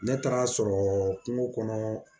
Ne taar'a sɔrɔ kungo kɔnɔ